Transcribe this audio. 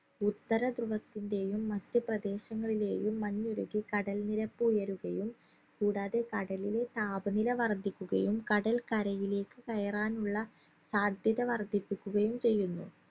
ഉത്തരദ്രുവത്തിന്റെയും മറ്റു പ്രദേശങ്ങളിലെയും മഞ്ഞുരുകി കടൽ നിരപ്പ് ഉയരുകയും കൂടാതെ കടലിലെ താപനില വർധിക്കുകയും കടൽ കരയിലേക്ക് കയറാനുള്ള സാധ്യത വർധിപ്പിക്കുകയും ചെയ്യുന്നു